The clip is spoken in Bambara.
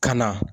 Ka na